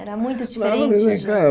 Era muito diferente?